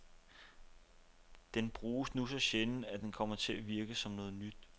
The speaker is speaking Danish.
Den bruges nu så sjældent, at den kom til at virke som noget nyt.